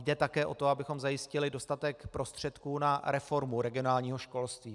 Jde také o to, abychom zajistili dostatek prostředků na reformu regionálního školství.